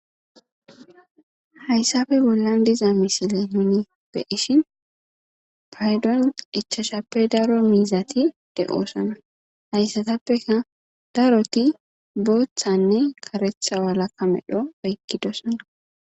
Haysape bolan diza missilen be'ishin paydon ichachashappe daro mizati de'osona haysatapeka daroti botanne karetha walaka medho oyqidosona.